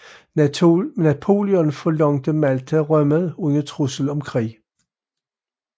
Napoleon forlangte Malta rømmet under trussel om krig